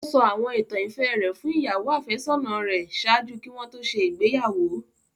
O sọ àwọn ìtàn ìfẹ rẹ fun ìyàwo-àfésónà rẹ ṣaaju ki wọn to ṣe igbeyawo